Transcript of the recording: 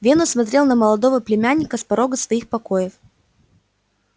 венус смотрел на молодого племянника с порога своих покоев